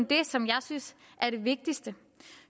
det som jeg synes er det vigtigste